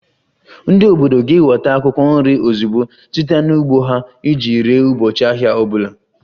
Ndị obodo ga-eweta akwụkwọ nri ozugbo site n'ugbo ha iji ree ụbọchị ahịa ọ bụla